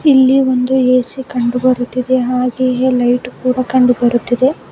ಇಲ್ಲಿ ಒಂದು ಏ_ಸಿ ಕಂಡು ಬರುತ್ತಿದೆ ಹಾಗೆಯೇ ಲೈಟು ಕೂಡ ಕಂಡು ಬರುತ್ತಿದೆ.